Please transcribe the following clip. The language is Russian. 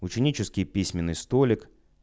ученический письменный столик